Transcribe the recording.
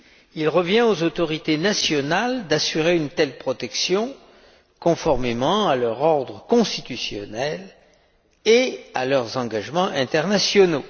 Il revient aux autorités nationales d'assurer une telle protection, conformément à leur ordre constitutionnel et à leurs engagements internationaux.